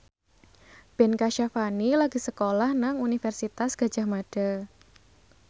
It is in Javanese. Ben Kasyafani lagi sekolah nang Universitas Gadjah Mada